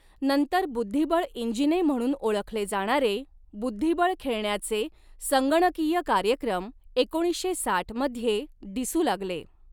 नंतर बुद्धिबळ इंजिने म्हणून ओळखले जाणारे, बुद्धिबळ खेळण्याचे संगणकीय कार्यक्रम एकोणीसशे साठ मध्ये दिसू लागले.